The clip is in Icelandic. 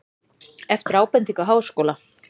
Eftir ábendingu Háskóla